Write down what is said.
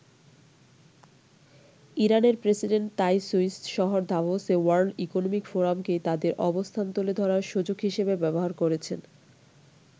ইরানের প্রেসিডেন্ট তাই সুইস শহর দাভোসে ওয়ার্ল্ড ইকনমিক ফোরামকেই তাদের অবস্থান তুলে ধরার সুযোগ হিসেবে ব্যবহার করেছেন।